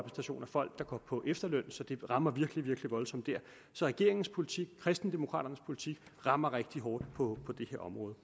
folk der går på efterløn så det rammer virkelig virkelig voldsomt der så regeringens politik kristendemokraternes politik rammer rigtig hårdt på det her område